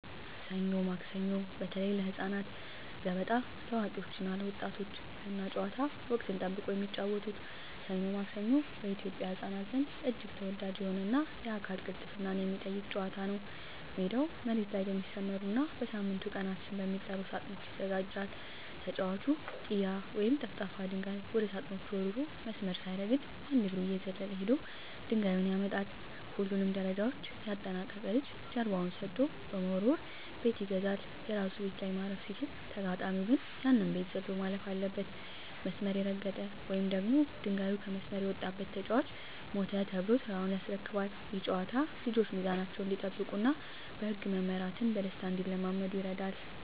ሰኞ ማክሰኞ (በተለይ ለህፃናት)፣ገበጣ (ለአዋቂዎች እና ለወጣቶች)፣ ገና ጨዋታ (ወቅትን ጠብቆ የሚጫወቱት) "ሰኞ ማክሰኞ" በኢትዮጵያ ህፃናት ዘንድ እጅግ ተወዳጅ የሆነና የአካል ቅልጥፍናን የሚጠይቅ ጨዋታ ነው። ሜዳው መሬት ላይ በሚሰመሩና በሳምንቱ ቀናት ስም በሚጠሩ ሳጥኖች ይዘጋጃል። ተጫዋቹ "ጢያ" ወይም ጠፍጣፋ ድንጋይ ወደ ሳጥኖቹ ወርውሮ፣ መስመር ሳይረግጥ በአንድ እግሩ እየዘለለ ሄዶ ድንጋዩን ያመጣል። ሁሉንም ደረጃዎች ያጠናቀቀ ልጅ ጀርባውን ሰጥቶ በመወርወር "ቤት ይገዛል"። የራሱ ቤት ላይ ማረፍ ሲችል፣ ተጋጣሚው ግን ያንን ቤት ዘሎ ማለፍ አለበት። መስመር የረገጠ ወይም ድንጋዩ ከመስመር የወጣበት ተጫዋች "ሞተ" ተብሎ ተራውን ያስረክባል። ይህ ጨዋታ ልጆች ሚዛናቸውን እንዲጠብቁና በህግ መመራትን በደስታ እንዲለማመዱ ይረዳል።